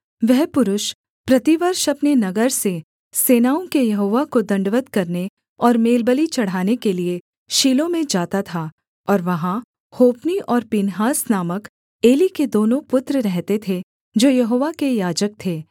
वह पुरुष प्रतिवर्ष अपने नगर से सेनाओं के यहोवा को दण्डवत् करने और मेलबलि चढ़ाने के लिये शीलो में जाता था और वहाँ होप्नी और पीनहास नामक एली के दोनों पुत्र रहते थे जो यहोवा के याजक थे